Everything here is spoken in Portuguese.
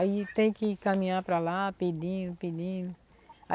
Aí tem que caminhar para lá, pedindo, pedindo.